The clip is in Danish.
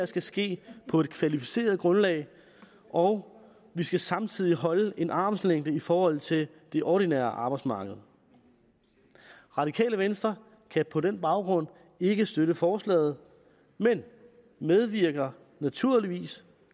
skal ske på et kvalificeret grundlag og vi skal samtidig holde en armslængde i forhold til det ordinære arbejdsmarked radikale venstre kan på den baggrund ikke støtte forslaget men vi medvirker naturligvis